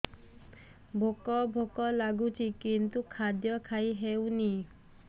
ଭୋକ ଭୋକ ଲାଗୁଛି କିନ୍ତୁ ଖାଦ୍ୟ ଖାଇ ହେଉନି